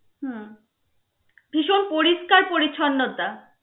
হম ভিষণ পরিষ্কার পরিছন্নতা.